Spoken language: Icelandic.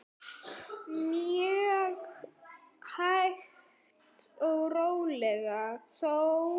Mjög hægt og rólega þó.